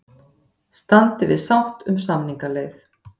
Standi við sátt um samningaleið